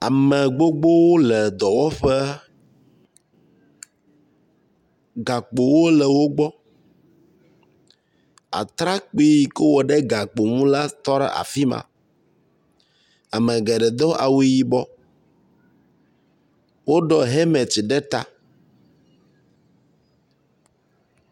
Ame aɖewo le dɔwɔƒe. Gakpowo le wo gbɔ. Atrɔkpui yi ke wowɔ ɖe gakpo ŋu la tɔ ɖe afi ma. Ame geɖe do awu yibɔ. Woɖɔ hemeti ɖe ta.